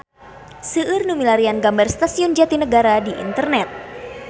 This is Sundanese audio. Seueur nu milarian gambar Stasiun Jatinegara di internet